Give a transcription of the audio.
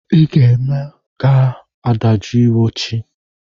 Ị ga-eme ga-adajụọ iwe chi!